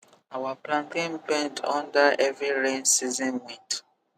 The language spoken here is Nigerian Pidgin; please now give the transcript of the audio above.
our plantain bend under heavy rainy season wind